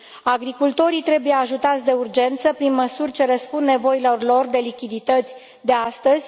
Agricultorii trebuie ajutați de urgență prin măsuri ce răspund nevoilor lor de lichidități de astăzi.